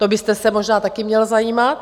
To byste se možná taky měl zajímat.